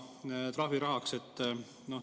See läheb trahvirahaks.